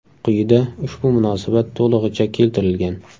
Quyida ushbu munosabat to‘lig‘icha keltirilgan.